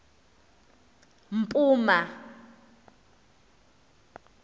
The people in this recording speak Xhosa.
mpuma